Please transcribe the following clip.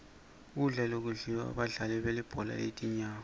kudla lokudliwa badlali belibhola letinyawo